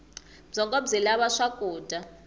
byongo byi lava swakudya